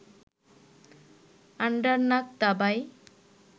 Andernach দাবায়